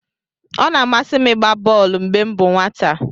Ọ na-amasị m ịgba bọolu mgbe m bụ nwata.